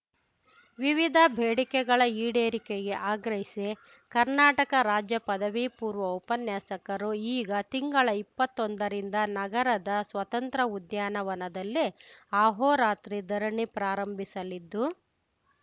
ವಿವಿಧ ಬೇಡಿಕೆಗಳ ಈಡೇರಿಕೆಗೆ ಆಗ್ರಹಿಸಿ ಕರ್ನಾಟಕ ರಾಜ್ಯ ಪದವಿ ಪೂರ್ವ ಉಪನ್ಯಾಸಕರು ಈಗ ತಿಂಗಳ ಇಪ್ಪತ್ತೊಂದ ರಿಂದ ನಗರದ ಸ್ವತಂತ್ರ ಉದ್ಯಾನವನದಲ್ಲಿ ಅಹೋರಾತ್ರಿ ಧರಣಿ ಪ್ರಾರಂಭಿಸಲಿದ್ದು